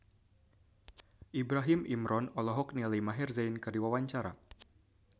Ibrahim Imran olohok ningali Maher Zein keur diwawancara